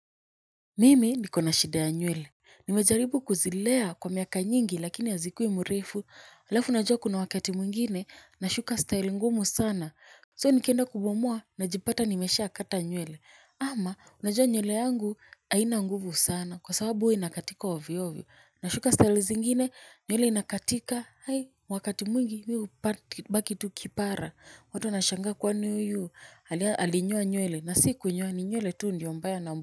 Mimi nikona shida ya nywele, nimejaribu kuzilea kwa miaka nyingi lakini hazikui mrefu alafu unajua kuna wakati mwngine nashuka style ngumu sana soo nikenda kubomoa najipata nimeshakata nywele ama unajua nywele yangu haina nguvu sana kwa sababu hua inakatika ovyovyo, nashuka style zingine nywele inakatika wakati mwingi mimi hubaki tu kipara watu wanashangaa kwani huyu alinyoa nywele na si kunyoa ni nywele tu ndio mbaya na.